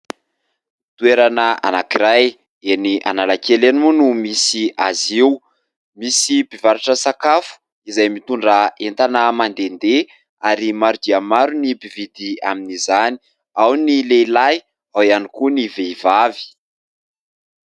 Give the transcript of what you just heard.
Toerana anankiray eny Analakely eny moa no misy azy io, misy mpivarotra sakafo izay mitondra entana mandehandeha ary maro dia maro ny mpividy amin'izany, ao ny lehilahy ao ihany koa ny vehivavy.